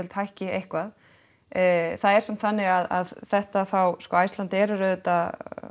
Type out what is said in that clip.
hækki eitthvað það er samt þannig að þetta þá sko Icelandair er auðvitað